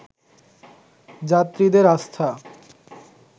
যাত্রীদের আস্থা